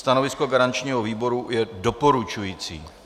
Stanovisko garančního výboru je doporučující.